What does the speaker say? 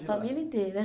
A família inteira.